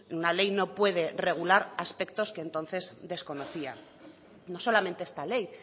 una ley no puede regular aspectos que entonces desconocía no solamente esta ley